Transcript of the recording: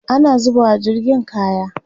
ana zubawa jirgin kaya